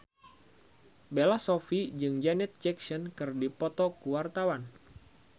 Bella Shofie jeung Janet Jackson keur dipoto ku wartawan